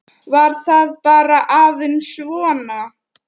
Var það bara aðeins svona?